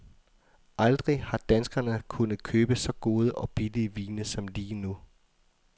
Aldrig har danskerne kunnet købe så gode og billige vine som lige nu.